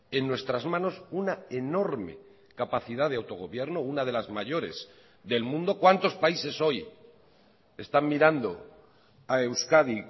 en nuestras manos una enorme capacidad de autogobierno una de las mayores del mundo cuántos países hoy están mirando a euskadi